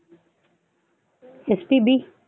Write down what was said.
spb